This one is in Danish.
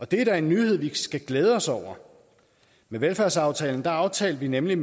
det er da en nyhed vi skal glæde os over med velfærdsaftalen aftalte vi nemlig